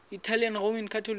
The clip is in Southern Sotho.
italian roman catholics